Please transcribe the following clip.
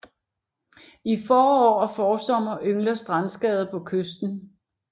I forår og forsommer yngler strandskade på kysten